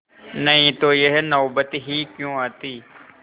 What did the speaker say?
नहीं तो यह नौबत ही क्यों आती